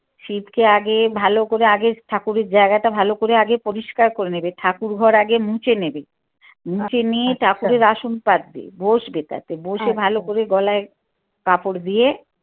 শিবকে আগে ভালো করে আগে ঠাকুরের জায়গাটা ভালো করে আগে পরিস্কার করে নেবে ঠাকুরঘর আগে মুছে নেবে মুছে নিয়ে ঠাকুরের আসন পাতবে বসবে তাতে বসে ভালো করে গলায় কাপড় দিয়ে